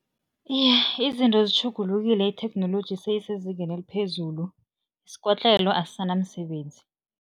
Iye, izinto zitjhugulukile, itheknoloji seyisezingeni eliphezulu, isikotlelo asisanamsebenzi.